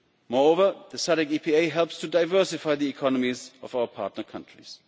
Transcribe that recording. Moreover, the SADC EPA helps to diversify the economies of our partner countries.